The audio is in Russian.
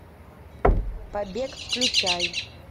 побег включай